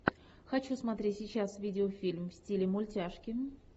хочу смотреть сейчас видеофильм в стиле мультяшки